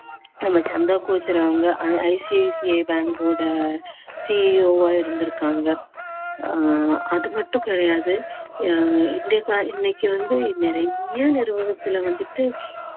நம்ம சந்தா கோச்சர் அவங்க ICICI bank ஓட CEO ஆ இருந்திருக்காங்க ஆஹ் அது மட்டும் கிடையாது ஆஹ் இன்னைக்கு வந்து நிறைய நிறுவனத்துல வந்துட்டு